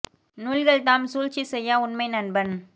நூல்கள்தாம் சூழ்ச்சிசெய்யா உண்மை நண்பன்